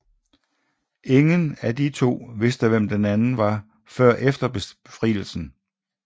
Ingen af de to vidste hvem den anden var før efter Befrielsen